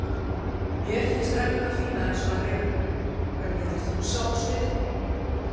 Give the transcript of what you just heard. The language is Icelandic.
Mér finnst reglurnar fínar eins og þær eru Hvern vildir þú sjá á sviði?